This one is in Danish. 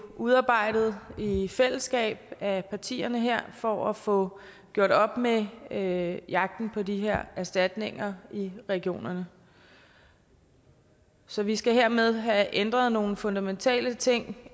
udarbejdet i fællesskab af partierne her for at få gjort op med med jagten på de her erstatninger i regionerne så vi skal hermed have ændret nogle fundamentale ting